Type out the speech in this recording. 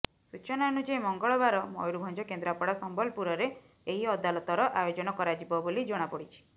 ସୂଚନା ଅନୁଯାୟୀ ମଙ୍ଗଳବାର ମୟୁରଭଞ୍ଜ କେନ୍ଦ୍ରାପଡ଼ା ସମ୍ବଲପୁରରେ ଏହି ଅଦାଲତର ଆୟୋଜନ କରାଯିବ ବୋଲି ଜଣାପଡ଼ିଛି